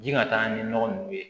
Ji ka taa ni nɔgɔ ninnu ye